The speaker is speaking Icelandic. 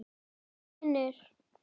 Nei vinir!